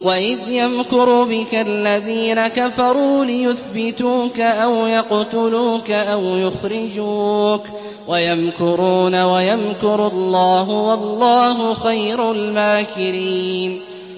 وَإِذْ يَمْكُرُ بِكَ الَّذِينَ كَفَرُوا لِيُثْبِتُوكَ أَوْ يَقْتُلُوكَ أَوْ يُخْرِجُوكَ ۚ وَيَمْكُرُونَ وَيَمْكُرُ اللَّهُ ۖ وَاللَّهُ خَيْرُ الْمَاكِرِينَ